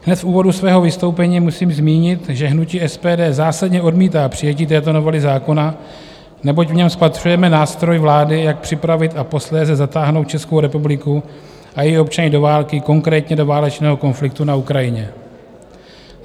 Hned v úvodu svého vystoupení musím zmínit, že hnutí SPD zásadně odmítá přijetí této novely zákona, neboť v něm spatřujeme nástroj vlády, jak připravit a posléze zatáhnout Českou republiku a její občany do války, konkrétně do válečného konfliktu na Ukrajině.